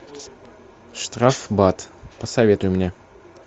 штрафбат посоветуй мне